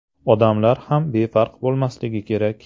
Odamlar ham befarq bo‘lmasligi kerak.